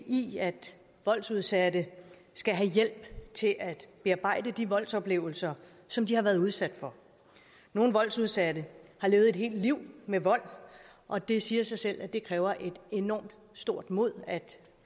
i at voldsudsatte skal have hjælp til at bearbejde de voldsoplevelser som de har været udsat for nogle voldsudsatte har levet et helt liv med vold og det siger sig selv at det kræver et enormt stort mod at